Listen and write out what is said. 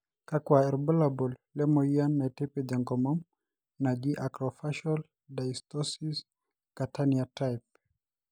kakua irbulabol le moyian naitipij enkomom naji Acrofacial dysostosis Catania type?